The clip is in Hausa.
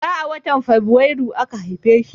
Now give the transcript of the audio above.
Bara a watan Fabrairu aka haife shi.